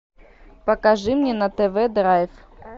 покажи мне на тв драйв